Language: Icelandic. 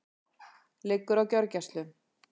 Liggur á gjörgæslu